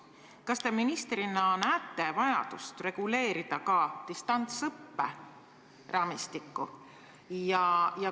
Kas te ministrina näete vajadust reguleerida ka distantsõppe raamistikku?